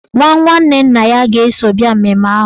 Nwa nwanne nna ya ga-eso bịa mmemme ahụ.